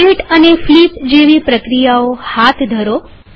rotate અને flip જેવી પ્રક્રિયાઓ હાથ ઘરો